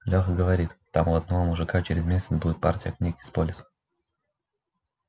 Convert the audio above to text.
лёха говорит там у одного мужика через месяц будет партия книг из полиса